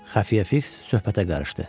Xəfiyyə Fiks söhbətə qarışdı.